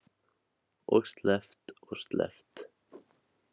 Og sleppt og sleppt.